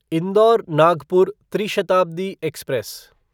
indoor Nagpur ट्री Shatabdi express